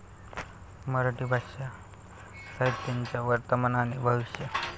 मराठी भाषा साहित्याचं वर्तमान आणि भविष्य